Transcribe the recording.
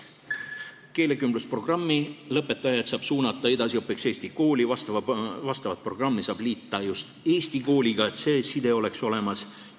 Keelekümblusprogrammi lõpetajad saab suunata edasiõppimiseks eesti kooli, vastava programmi saab liita just eesti kooliga, et see side oleks olemas.